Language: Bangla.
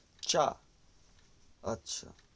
চা আচ্ছা